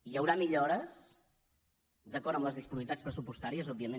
hi haurà millores d’acord amb les disponibilitats pressupostàries òbviament